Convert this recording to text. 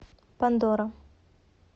пандора